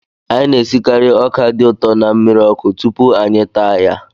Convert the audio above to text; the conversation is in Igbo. Anyị na-esikarị ọka dị ụtọ na mmiri ọkụ tupu anyị taa ya